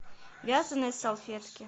вязаные салфетки